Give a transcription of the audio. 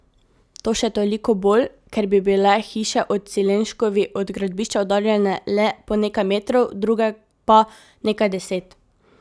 To še toliko bolj, ker bi bile hiše ob Cilenškovi od gradbišča oddaljene le po nekaj metrov, druge pa nekaj deset.